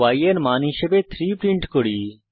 y এর মান হিসাবে 3 প্রিন্ট করি